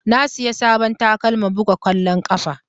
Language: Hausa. Na siya sabon takalma buga kwallon ƙafa.